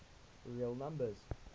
real numbers